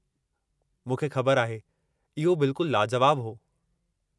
मूंखे ख़बरु आहे! इहो बिल्कुल लाजुवाबु हो।